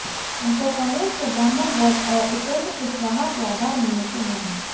उनको कांग्रेस के ब्राह्मण वोट और उपेन्द्र कुशवाहा के आधार मिलने की उम्मीद है